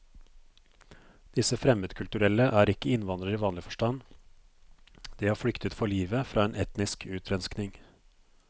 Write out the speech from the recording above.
Disse fremmedkulturelle er ikke innvandrere i vanlig forstand, de har flyktet for livet fra en etnisk utrenskning.